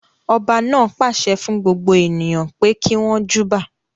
Ọba náà pàṣẹ fún gbogbo ènìyàn pé kí wọn júbà.